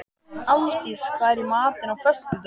Aldís, hvað er í matinn á föstudaginn?